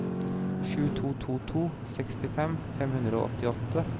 sju to to to sekstifem fem hundre og åttiåtte